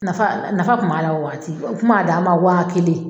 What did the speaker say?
Nafa nafa kun b'a la o waati o kun b'a d'an ma waa kelen